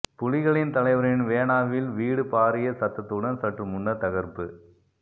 புலிகளின் தலைவரின் வேனாவில் வீடு பாரிய சத்தத்துடன் சற்று முன்னர் தகர்ப்பு